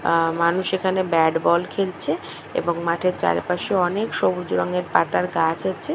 আহ মানুষ এখানে bat ball খেলছে এবং মাঠের চারিপাশে অনেক সবুজ রঙের পাতার গাছ আছে ।